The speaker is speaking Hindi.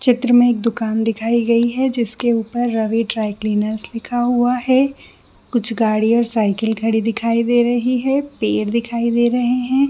चित्र में एक दुकान दिखाई गई जिसके के ऊपर रवि द्रिक्लेअनेर लिखा हुआ है कुछ गाड़िया और साइकिल खड़ी दिखाई दे रही है पेड़ दिखाई दे रहै है।